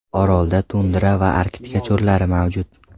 Orolda tundra va arktika cho‘llari mavjud.